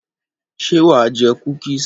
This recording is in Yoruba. Ṣé wà á jẹ kúkísì?